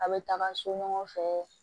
A' be taga so ɲɔgɔn fɛ